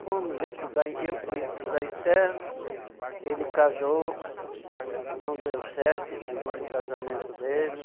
Fomos estudar em, eu fui estudar interno, ele casou, não deu certo o segundo casamento dele.